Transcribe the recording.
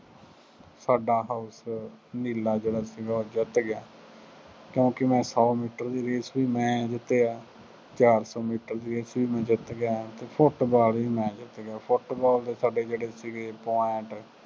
ਸਾਡਾ house ਨੀਲਾ ਜਿਹੜਾ ਸੀਗਾ ਉਹ ਜਿੱਤ ਗਿਆ, ਕਿਉਂਕਿ ਮੈਂ ਸੋ ਮੀਟਰ ਦੀ race ਵੀ ਮੈਂ ਜਿੱਤਿਆ, ਚਾਰ ਸੋ ਮੀਟਰ ਦੀ race ਚ ਵੀ ਮੈਂ ਜਿੱਤ ਗਿਆ, ਫੁੱਟਬਾਲ ਵੀ ਮੈਂ ਜਿੱਤ ਗਿਆ, ਫੁੱਟਬਾਲ ਦੇ ਸਾਡੇ ਜਿਹੜੇ ਸੀਗੇ point